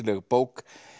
bók